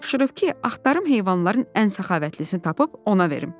Tapşırıb ki, axtarım heyvanların ən səxavətlisini tapıb ona verim.